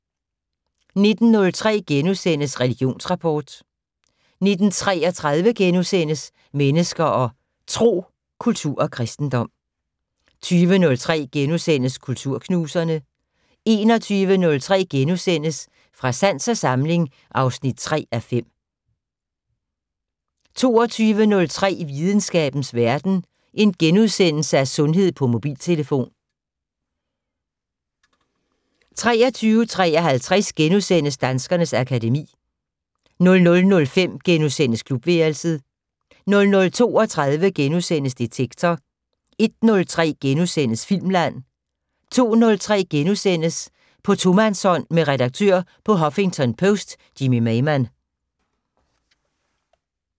19:03: Religionsrapport * 19:33: Mennesker og Tro: Kultur og kristendom * 20:03: Kulturknuserne * 21:03: Fra sans og samling (3:5)* 22:03: Videnskabens Verden: Sundhed på mobiltelefon * 23:53: Danskernes akademi * 00:05: Klubværelset * 00:32: Detektor * 01:03: Filmland * 02:03: På tomandshånd med redaktør på Huffington Post Jimmy Maymann *